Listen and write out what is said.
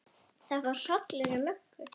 Það fór hrollur um Möggu.